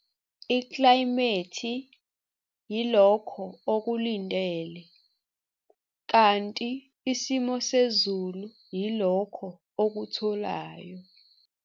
Iklayimethi yilokho okulindele, kanti isimo sezulu yilokho okutholayo!